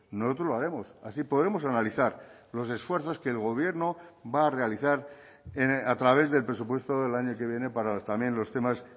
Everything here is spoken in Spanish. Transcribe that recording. nosotros lo haremos así podremos analizar los esfuerzos que el gobierno va a realizar a través del presupuesto del año que viene para también los temas